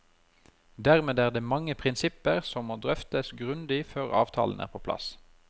Dermed er det mange prinsipper som må drøftes grundig før avtalen er på plass.